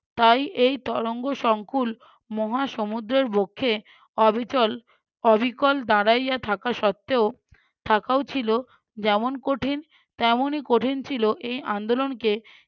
তাই এই তরঙ্গ সংকুল মহা সমুদ্রের বক্ষে অবিচল অবিকল দাঁড়াইয়া থাকা সত্ত্বেও থাকাও ছিল যেমন কঠিন তেমনি কঠিন ছিল এই আন্দোলনকে